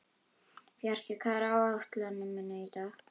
Fjarki, hvað er á áætluninni minni í dag?